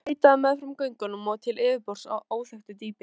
Vatnið leitaði meðfram göngunum upp til yfirborðs af óþekktu dýpi.